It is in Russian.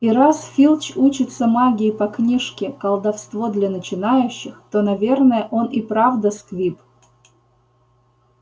и раз филч учится магии по книжке колдовство для начинающих то наверное он и правда сквиб